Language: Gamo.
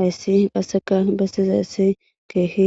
Hayssi qasseka bestizaissi keehi